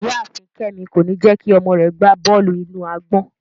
Iyaafin Kemi ko ni jẹ ki ọmọ rẹ gba bọọlu-inu-agbọn